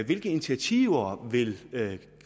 hvilke initiativer vil